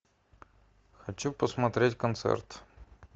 хочу посмотреть концерт